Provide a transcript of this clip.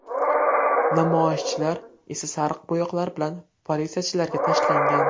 Namoyishchilar esa sariq bo‘yoqlar bilan politsiyachilarga tashlangan.